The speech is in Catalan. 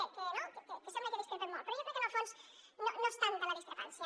i sé no que sembla que discrepem molt però jo crec que en el fons no és tanta la discrepància